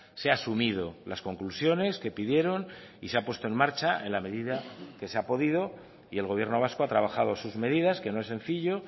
se ha asumido las conclusiones que pidieron y se ha puesto en marcha en la medida que se ha podido y el gobierno vasco ha trabajado sus medidas que no es sencillo